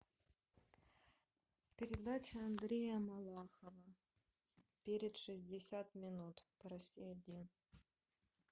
передача андрея малахова перед шестьдесят минут по россия один